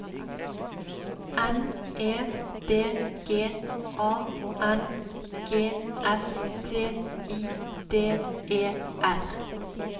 N E D G A N G S T I D E R